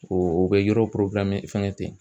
O o bɛ yɔrɔ fɛngɛ ten.